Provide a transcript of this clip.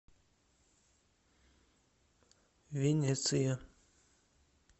венеция